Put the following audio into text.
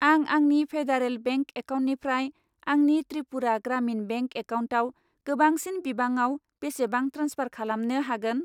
आं आंनि federal bank एकाउन्टनिफ्राय आंनि त्रिपुरा ग्रामिन बेंक एकाउन्टआव गोबांसिन बिबाङाव बेसेबां ट्रेन्सफार खालामनो हागोन?